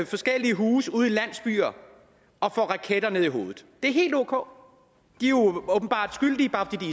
forskellige huse ude i landsbyer og får raketter ned i hovedet det er helt ok de er åbenbart skyldige bare fordi